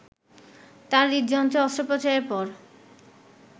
তাঁর হৃদযন্ত্রে অস্ত্রোপচারের পর